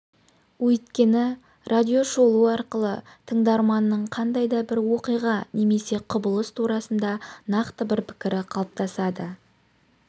өйткені радиошолу арқылы тыңдарманның қандай да бір оқиға немесе құбылыс турасында нақты бір пікірі қалыптасады